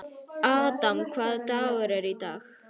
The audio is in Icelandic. Adam, hvaða dagur er í dag?